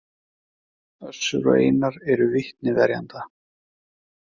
Össur og Einar eru vitni verjenda